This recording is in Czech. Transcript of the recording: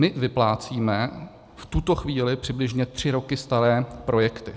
My vyplácíme v tuto chvíli přibližně tři roky staré projekty.